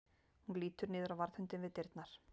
Hún lítur niður á varðhundinn við dyrnar.